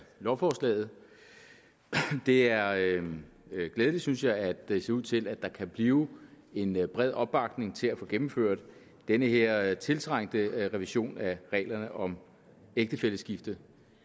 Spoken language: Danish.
lovforslaget det er glædeligt synes jeg at det ser ud til at der kan blive en bred opbakning til at få gennemført den her tiltrængte revision af reglerne om ægtefælleskifte